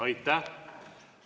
Aitäh!